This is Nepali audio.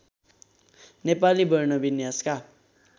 नेपाली वर्ण विन्यासका